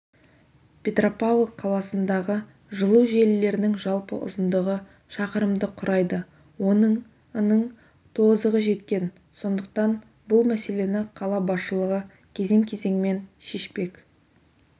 петропавл қаласындағы жылу желілерінің жалпы ұзындығы шақырымды құрайды оның ының тозығы жеткен сондықтан бұл мәселені қала басшылығы кезең-кезеңмен шешпек